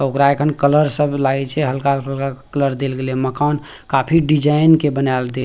ओकरा एखन कलर सब लाये छे हल्का-हल्का कलर देल गेले मकान काफी डिज़ाइन के बनाल दे --